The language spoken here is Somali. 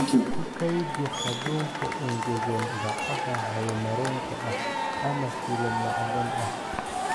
Ku kaydi hadhuudhka engegan bacaha hawo-mareenka ah ama silo macdan ah.